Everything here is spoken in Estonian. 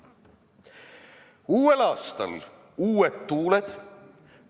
Uuel aastal uued tuuled.